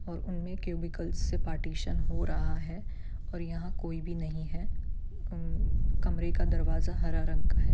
और उनमें क्यूबिकल से पार्टीशन हो रहा है और यहाँ कोई भी नहीं है उम कमरे का दरवाजा हरा रंग का है।